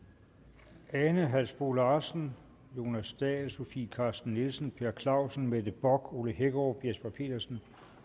jeg ane halsboe larsen jonas dahl sofie carsten nielsen per clausen mette bock ole hækkerup jesper petersen